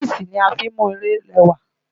Táìsì la fí ń mú ilé rẹwà.